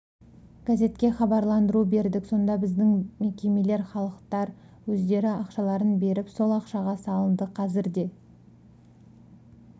газетке хабарландыру бердік сонда біздің мекемелер халықтар өздері ақшаларын беріп сол ақшаға салынды қазір де